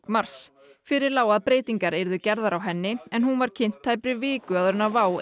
mars fyrir lá að breytingar yrðu gerðar á henni en hún var kynnt tæpri viku áður en WOW